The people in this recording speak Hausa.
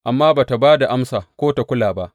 Amma ba tă ba da amsa ko tă kula ba.